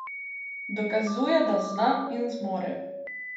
Dokazuje, da zna in zmore.